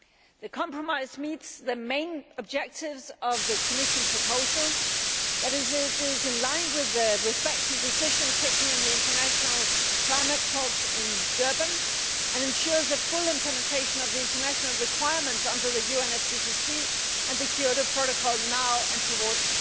The compromise meets the main objectives of the Commission proposal it is in line with the respective decision taken in the international climate talks in Durban and ensures the full implementation of the international requirements under the UNFCCC and the Kyoto Protocol both now and towards